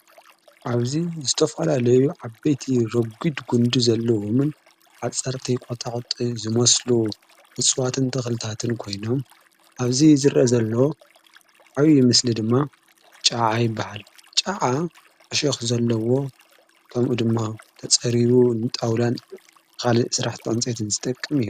ኣብዙይ እስተፍላ ለዩ ዓ በቲ ሮጕድ ጕንዲ ዘለዉምን ዓጸርተይቖታዂጢ ዝመስሉ ንጽዋትን ተኽልታትን ኮይኖም ኣብዙ ዝረ ዘለዎ ኣይዪ ምስሊ ድማ ጨዓ ይበሃል ጨዓ ኣሽኹ ዘለዎ ከምኡ ድማ ተጸሪቡ ።ንጣውላን ኻል ሥራሕ ጠንጺአትን ዝጠቅም እዮ።